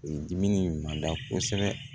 Dimi ma da kosɛbɛ